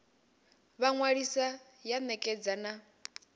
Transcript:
vha ṅwalisa ya ṋekedza na